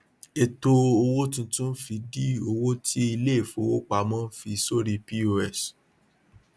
ètò owó tuntun fi dí owó tí iléìfowópamọ fi sórí cs] pos